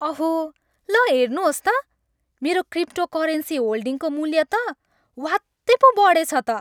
अहो! ल हेर्नुहोस् त! मेरो क्रिप्टोकरेन्सी होल्डिङको मूल्य त ह्वात्तै पो बढेछ त।